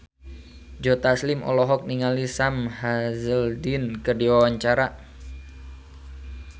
Joe Taslim olohok ningali Sam Hazeldine keur diwawancara